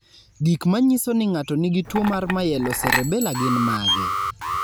Gik manyiso ni ng'ato nigi tuwo mar Myelocerebellar gin mage?